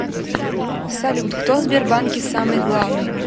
салют кто в сбербанке самый главный